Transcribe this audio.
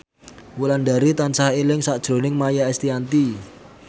Wulandari tansah eling sakjroning Maia Estianty